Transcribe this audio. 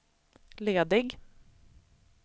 ledig